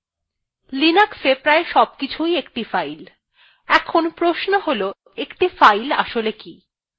linuxa প্রায় সবকিছুই একটি file in প্রশ্ন হল একটি file আসলে কি